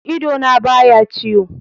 Idona ba ya ciwo.